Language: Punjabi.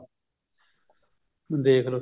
ਦੇਖਲੋ